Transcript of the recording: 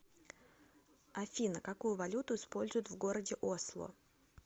афина какую валюту используют в городе осло